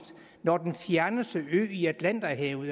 når den fjerneste ø i atlanterhavet